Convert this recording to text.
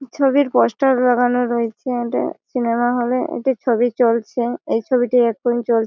ছবির পোস্টার লাগানো রয়েছে ইডে সিনেমা হলে একটি ছবি চলছে এই ছবিটি এখন চল--